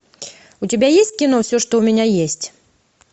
у тебя есть кино все что у меня есть